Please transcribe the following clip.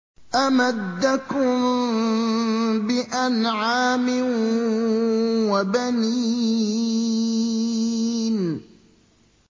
أَمَدَّكُم بِأَنْعَامٍ وَبَنِينَ